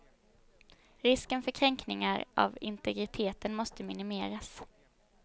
Risken för kränkningar av integriteten måste minimeras.